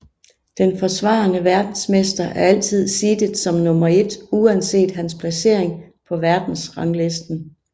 Den forsvarende verdensmester er altid seedet som nummer 1 uanset hans placering på verdensranglisten